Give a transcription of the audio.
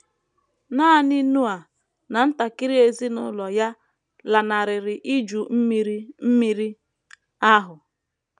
Nanị Noa na ntakịrị ezinụlọ ya lanarịrị Iju Mmiri Mmiri ahụ.